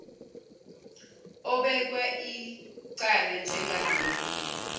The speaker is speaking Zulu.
obekwa ieala njengalokhu